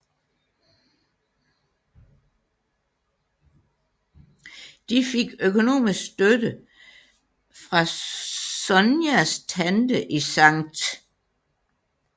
De fik økonomisk støtte fra Sonias tante i Skt